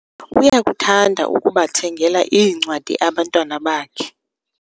uyakuthanda ukubathengela iincwadi abantwana bakhe